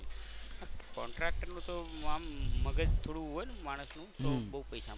contractor નું તો આમ મગજ થોડું હોય ને માણસ નું તો બહુ પૈસા મળે.